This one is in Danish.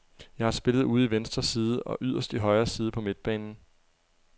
Jeg har spillet ude i venstre side og yderst i højre side på midtbanen.